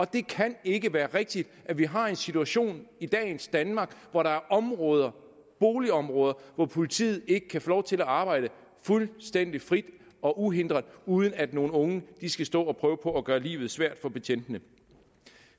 det kan ikke være rigtigt at vi har en situation i dagens danmark hvor der er områder boligområder hvor politiet ikke kan få lov til at arbejde fuldstændig frit og uhindret uden at nogle unge skal stå og prøve på at gøre livet svært for betjentene